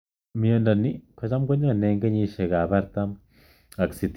Mindo ni kocham ko nyone ing kenyishek ap artam(40) ak sitini(60).